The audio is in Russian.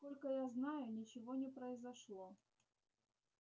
насколько я знаю ничего не произошло